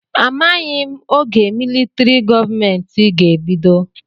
Amaghị m oge militrị gọọmenti ga-ebido.